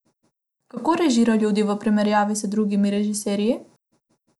Kako režira ljudi v primerjavi z drugimi režiserji?